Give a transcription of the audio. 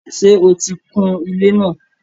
Ṣé o ti kun ilé náà?